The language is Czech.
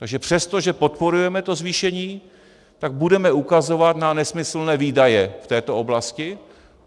Takže přesto, že podporujeme to zvýšení, tak budeme ukazovat na nesmyslné výdaje v této oblasti.